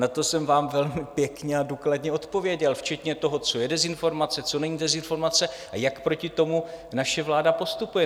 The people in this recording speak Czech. Na to jsem vám velmi pěkně a důkladně odpověděl včetně toho, co je dezinformace, co není dezinformace a jak proti tomu naše vláda postupuje.